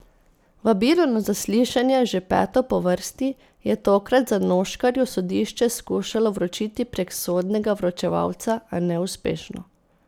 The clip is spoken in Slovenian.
Vabilo na zaslišanje, že peto po vrsti, je tokrat Zanoškarju sodišče skušalo vročiti prek sodnega vročevalca, a neuspešno.